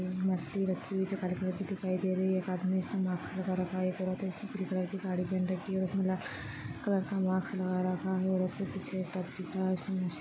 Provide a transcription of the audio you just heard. मछली रखी है जो काले कलर कि दिखाई दे रही है | एक आदमी उसने मास्क लगा रखा है | एक औरत है जिसने कलर की साड़ी पहन रखी है और उसने कलर का मास्क लगा रखा है| --